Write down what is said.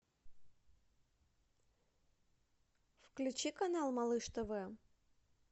включи канал малыш тв